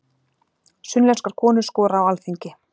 Sunnlenskar konur skora á Alþingi